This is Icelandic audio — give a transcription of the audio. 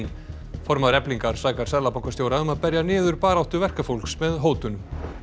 formaður Eflingar sakar seðlabankastjóra um að berja niður baráttu verkafólks með hótunum